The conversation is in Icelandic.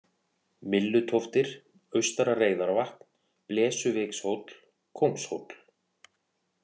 Myllutóftir, Austara-Reyðarvatn, Blesuvikshóll, Kóngshóll